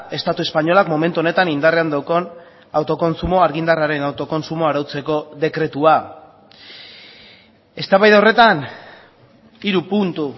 estatu espainolak momentu honetan indarrean daukan autokontsumoa argindarraren autokontsumoa arautzeko dekretua eztabaida horretan hiru puntu